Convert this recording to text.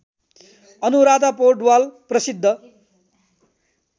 अनुराधा पौडवाल प्रसिद्ध